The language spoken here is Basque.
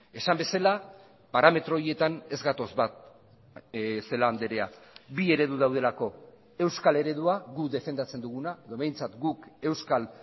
esan bezala parametro horietan ez gatoz bat celaá andrea bi eredu daudelako euskal eredua gu defendatzen duguna edo behintzat guk euskal